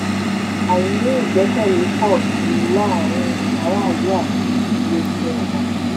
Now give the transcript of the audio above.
àìní ìgbẹ́kẹ̀lé pọ̀ sí i láàárín aráàlú àti ilé-iṣẹ́ wọn.